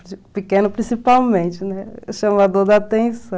O pequeno principalmente, chamador da atenção.